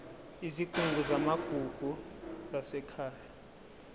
izigungu zamagugu zasekhaya